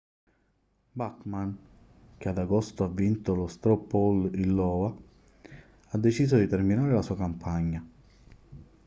bachmann che ad agosto ha vinto lo straw poll in iowa ha deciso di terminare la sua campagna